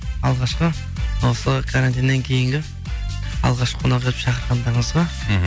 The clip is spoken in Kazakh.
алғашқы осы карантиннен кейінгі алғашқы қонағы етіп шақырғандарыңызға мхм